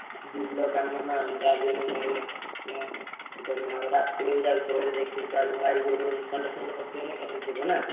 ବିଲ କାମ ନାଁ ଯାହାବି ହେଲେ ରାତିରେ ବି ଯାଉଥିବ ଗାଈ ଗୋରୁ ଶଣ୍ଢ ପଶିଯିବ ଏକାଥରେ ଯିବ ନା?